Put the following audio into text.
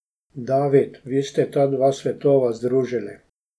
David, vi ste ta dva svetova združili.